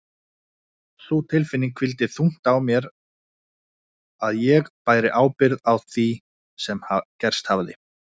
Sú tilfinning hvíldi þungt á mér að ég bæri ábyrgð á því sem gerst hafði.